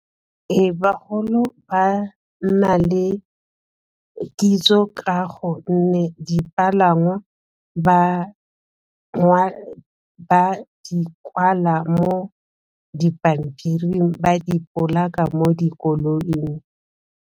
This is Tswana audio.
Bagolo ba nna le kitso ka gonne dipalangwa ba di kwala mo dipampiring ba dipolaka mo dikoloing.